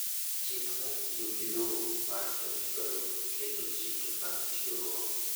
Chik mar tiyo gi lowo mar 2012 keto chike mag tiyogo